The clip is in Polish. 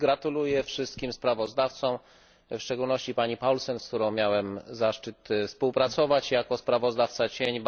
Gratuluję wszystkim sprawozdawcom, w szczególności pani Paulsen, z którą miałem zaszczyt współpracować jako sprawozdawca cień.